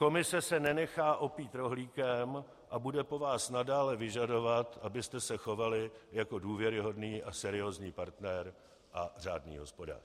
Komise se nenechá opít rohlíkem a bude po vás nadále vyžadovat, abyste se chovali jako důvěryhodný a seriózní partner a řádný hospodář.